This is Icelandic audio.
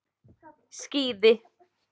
Skíði